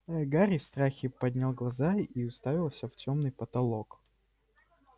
гарри в страхе поднял глаза и уставился в тёмный потолок